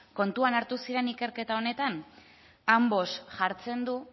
kontuan hartu ziren ikerketa honetan ambos jartzen du